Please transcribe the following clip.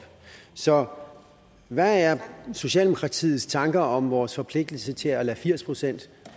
så hvad er socialdemokratiets tanker om vores forpligtelse til at lade firs procent